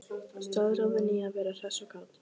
Staðráðin í að vera hress og kát.